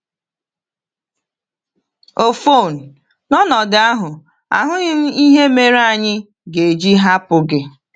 “Ọfọn, n’ọnọdụ ahụ, ahụghị m ihe mere anyị ga-eji hapụ gị.”